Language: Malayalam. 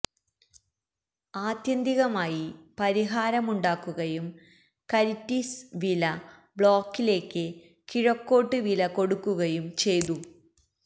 ആത്യന്തികമായി പരിഹാരമുണ്ടാക്കുകയും കരിറ്റിസ് വില ബ്ലോക്കിലേക്ക് കിഴക്കോട്ട് വില കൊടുക്കുകയും ചെയ്തു